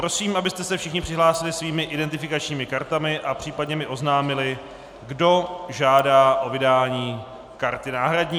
Prosím, abyste se všichni přihlásili svými identifikačními kartami a případně mi oznámili, kdo žádá o vydání karty náhradní.